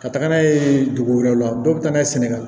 Ka taga n'a ye dugu wɛrɛw la dɔ bɛ taa n'a ye sɛnɛgali